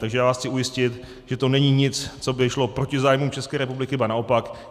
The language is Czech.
Takže já vás chci ujistit, že to není nic, co by šlo proti zájmům České republiky, ba naopak.